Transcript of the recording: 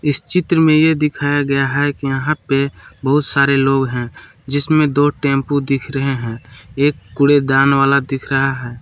इस चित्र में ये दिखाया गया हैं यहां पे बहुत सारे लोग है जिसमे दो टेंपू दिख रहे है एक कूड़ेदान वाला दिख रहा हैं।